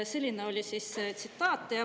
" Selline oli siis tsitaat.